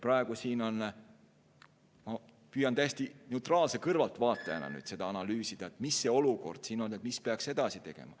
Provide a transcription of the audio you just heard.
Praegu ma püüan täiesti neutraalse kõrvaltvaatajana analüüsida, mis see olukord on ja mida peaks edasi tegema.